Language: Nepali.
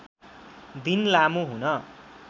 दिन लामो हुन